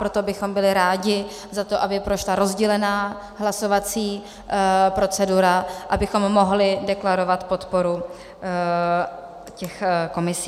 Proto bychom byli rádi za to, aby prošla rozdělená hlasovací procedura, abychom mohli deklarovat podporu těch komisí.